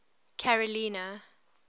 carolina